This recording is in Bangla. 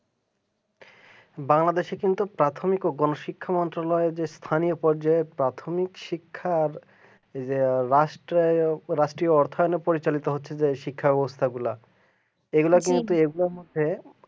বাংলাদেশে কিন্তু প্রাথমিক ও গণশিক্ষা যে স্থানীয় বর্জ্যপ্রাথমিক শিক্ষার এ রাষ্ট্রীয় থার্মোল পরিচালনা হচ্ছে যে শিক্ষা ব্যবস্থাগুলা এগুলা কিন্তু এগুলার মধ্যে